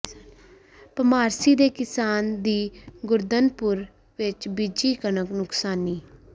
ਭਮਾਰਸੀ ਦੇ ਕਿਸਾਨ ਦੀ ਗੁਰਧਨਪੁਰ ਵਿੱਚ ਬੀਜੀ ਕਣਕ ਨੁਕਸਾਨੀ